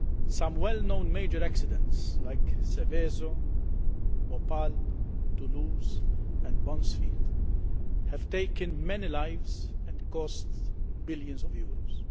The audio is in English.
Some well known major accidents like Seveso, Bhopal, Toulouse and Buncefield have taken many lives and cost billions of euros.